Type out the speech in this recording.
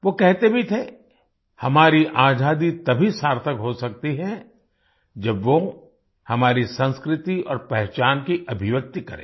वो कहते भी थे हमारी आज़ादी तभी सार्थक हो सकती है जब वो हमारी संस्कृति और पहचान की अभिव्यक्ति करे